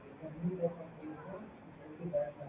இருக்கு.